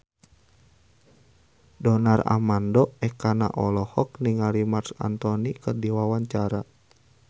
Donar Armando Ekana olohok ningali Marc Anthony keur diwawancara